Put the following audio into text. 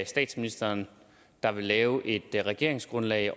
statsministeren der vil lave et regeringsgrundlag